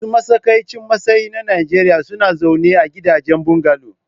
Masu matsakaicin matsayi na Najeriya suna zaune a gidajen bungalow.